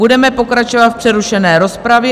Budeme pokračovat v přerušené rozpravě.